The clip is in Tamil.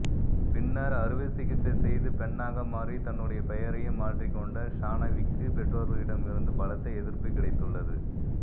பின்னர் அறுவை சிகிச்சை செய்து பெண்ணாக மாறி தன்னுடைய பெயரையும் மாற்றிக்கொண்ட ஷானவிக்கு பெற்றோர்களிடம் இருந்து பலத்த எதிர்ப்பு கிடைத்துள்ளது